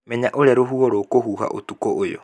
Menya ũrĩa rũhuho rũgũhuha ũtukũ ũyũ